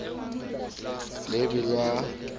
lebellwa ka ha e ne